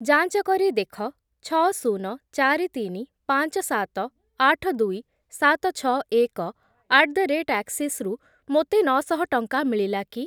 ଯାଞ୍ଚ କରି ଦେଖ ଛଅ, ଶୂନ, ଚାରି, ତିନି, ପାଞ୍ଚ, ସାତ, ଆଠ, ଦୁଇ, ସାତ, ଛଅ, ଏକ ଆଟ୍ ଦ ରେଟ୍ ଆକ୍‌ସିସ୍‌ରୁ ମୋତେ ନଅଶହ ଟଙ୍କା ମିଳିଲା କି